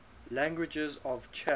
languages of chad